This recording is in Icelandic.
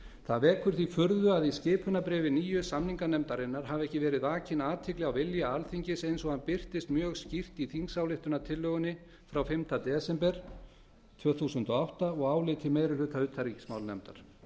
það vekur því furðu að í skipunarbréfi nýju samninganefndarinnar hafi ekki verið vakin athygli á vilja alþingis eins og hann birtist mjög skýrt í þingsályktunartillögunni frá fimmta desember tvö þúsund og átta og áliti meiri hluta utanríkismálanefndar þvert